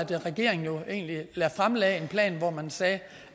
regeringen jo egentlig fremlagde en plan hvor man sagde